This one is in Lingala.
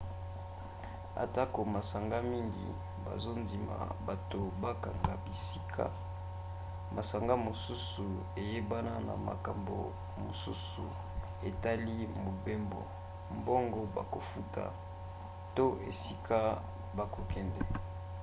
atako masanga mingi bazondima bato bakanga bisika masanga mosusu eyebana na makambo mosusu etali mobembo mbongo bakofuta to esika bakokende